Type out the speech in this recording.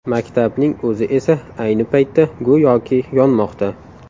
Maktabning o‘zi esa ayni paytda, go‘yoki, yonmoqda.